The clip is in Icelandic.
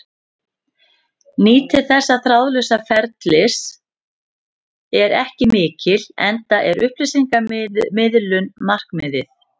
Nýtni þessa þráðlausa ferlis er ekki mikil enda er upplýsingamiðlun markmiðið.